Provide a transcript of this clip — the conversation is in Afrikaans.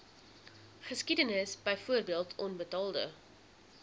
geskiedenis byvoorbeeld onbetaalde